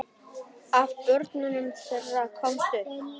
Af börnum þeirra komust upp